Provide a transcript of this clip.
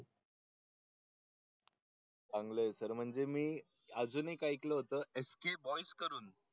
चांगलं आहे सर म्हणजे मी अजून एक ऐकलं होतं एसके बॉयस करून.